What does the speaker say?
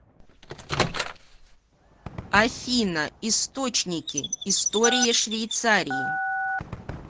афина источники история швейцарии